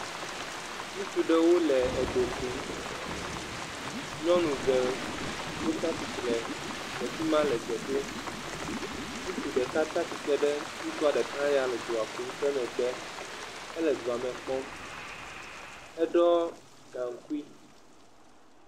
Ŋutsu ɖewo le edokum, nyɔnu eve wo tsatsitre le fima le dze dom. Ŋutsu ɖeka tsatsitre ɖe ŋutsua ɖeka ya le edoa kum ƒe megbe. Ele doa me kpɔm, edɔ gankui.